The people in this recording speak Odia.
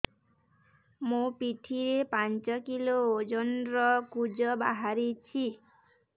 ମୋ ପିଠି ରେ ପାଞ୍ଚ କିଲୋ ଓଜନ ର କୁଜ ବାହାରିଛି